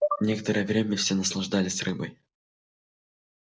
некоторое время все наслаждались рыбой